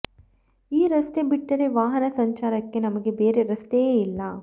ಈ ರಸ್ತೆ ಬಿಟ್ಟರೆ ವಾಹನ ಸಂಚಾರಕ್ಕೆ ನಮಗೆ ಬೇರೆ ರಸ್ತೆಯೇ ಇಲ್ಲ